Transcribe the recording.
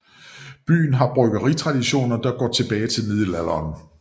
Byen har bryggeritraditioner der går tilbage til middelalderen